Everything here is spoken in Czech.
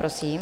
Prosím.